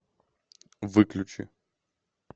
выключи